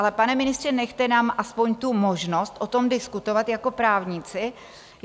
Ale, pane ministře, nechte nám aspoň tu možnost o tom diskutovat jako právníci.